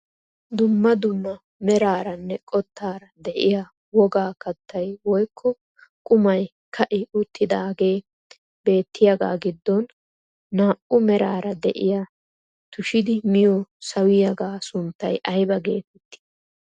Dumma dumma meraaranne qottaara de'iyaa wogaa kaattay woykko qumay ka'i uttidagee beettiyaagaa giddon naa"u meraara de'iyaa tushidi miyoo sawiyaaga sunttay ayba getettii?